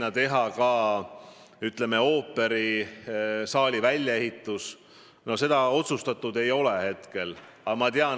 Ja mitte ainult – ma tean väga hästi, et teil on ka turismisektori juhtimisel kogemusi ja sellest tulenevalt te kindlasti muretsete Tallinna hotellide ja üldse Eesti hotellindussektori eest, samuti laevandussektori eest.